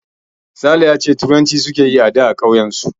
Sale ya ce turanci suke yi ada a ƙauyen su